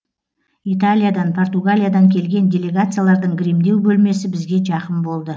италиядан португалиядан келген делегациялардың гримдеу бөлмесі бізге жақын болды